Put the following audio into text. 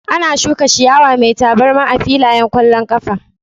Ana shuka ciyawa mai tabarma a filayen ƙwallon ƙafa